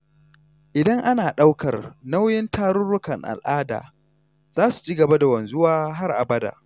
Idan ana ɗaukar nauyin tarurrukan al’ada, za su ci gaba da wanzuwa har abada.